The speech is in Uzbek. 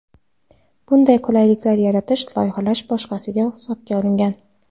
Bunday qulaylik yaratish loyihalash bosqichida hisobga olingan.